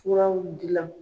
Furaw dilan.